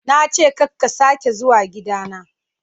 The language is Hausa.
Na ce ka ka sake zuwa gida na.